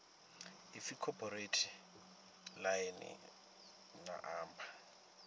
ipfi cooperate ḽine ḽa amba